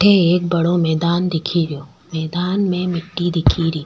अठ एक बड़ो मैदान दिख रो मैदान में मिट्टी दिख री।